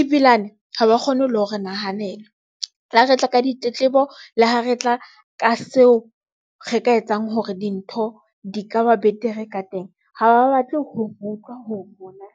ebilane ha ba kgone ho le hore nahanela le ho re tla ka ditletlebo, le ho re tla ka seo re ka etsang hore dintho di ka ba betere ka teng ha ba batle ho utlwa ho rona.